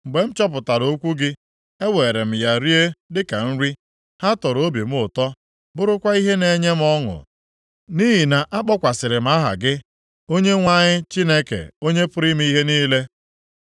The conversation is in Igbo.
Mgbe m chọpụtara okwu gị, eweere m ya rie dịka nri. Ha tọrọ obi m ụtọ, bụrụkwa ihe na-enye m ọṅụ, nʼihi na-akpọkwasịrị m aha gị, Onyenwe anyị Chineke Onye pụrụ ime ihe niile.